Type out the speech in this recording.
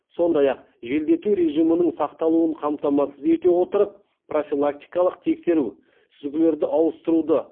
сондай ақ желдету режимінің сақталуын қамтамасыз ете отырып профилактикалық тексеру сүзгілерді ауыстыруды